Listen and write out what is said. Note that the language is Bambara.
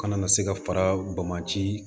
Kana na se ka fara baji